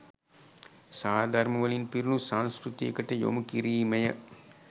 සාරධර්ම වලින් පිරුණු සංස්කෘතියකට යොමු කිරීමය